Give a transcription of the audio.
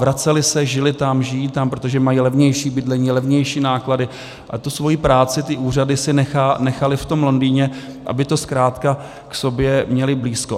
Vraceli se, žili tam, žijí tam, protože mají levnější bydlení, levnější náklady, a tu svoji práci, ty úřady si nechali v tom Londýně, aby to zkrátka k sobě měli blízko.